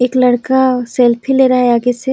एक लड़का सेल्फी ले रहा है आगे से--